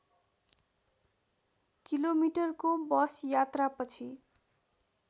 किलोमिटरको बस यात्रापछि